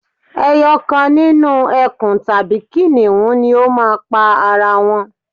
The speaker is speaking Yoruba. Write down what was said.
eyokan nínú ẹkùn tàbí kìnìún ni o má à pa ara wọn